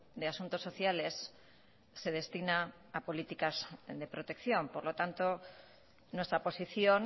de asuntos sociales se destina a políticas de protección por lo tanto nuestra posición